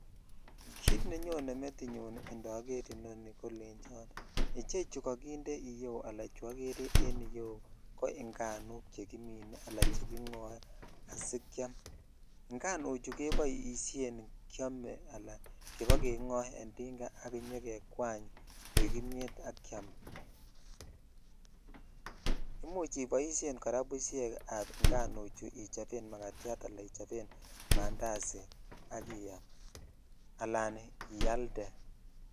Kit nenyone metinyun indoor inoni kolecho ichechu kokinde yu aa chu okere en iyeu ko inganuk chekimin al chegigoe asikeam, inganuchu koboishen keome ala kobokeng en tinga intokejwan koi imiet ak keam (puse )imuch iboishen kora bushek ab inganuchu ichoben magatyat ichoben mandazi ak iyam ala ialde .